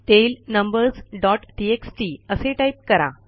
tail numbers dot TXT असे type करा